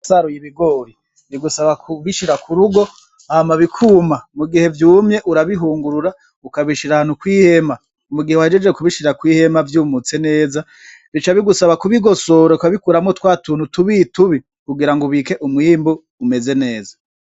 Saruye ibigori rigusaba kubishira ku rugo hamabikuma mu gihe vyumye urabihungurura ukabishira ahantu kw'ihema umugihe wajeje kubishira kw'ihema vyumutse neza rica bigusaba kubigosoboroka bikuramwo twa tuntu tubitubi kugira ngo ubike umwwimbu umeze neza.